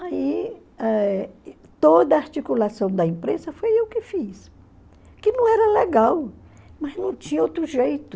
Aí eh toda a articulação da imprensa foi eu que fiz, que não era legal, mas não tinha outro jeito.